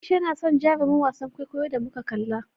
A'isha na son jarumin wasan kwaikwayon da muka kalla.